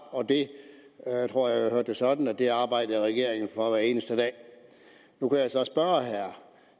jeg tror jeg hørte det sådan at det arbejder regeringen for hver eneste dag nu kan jeg så spørge herre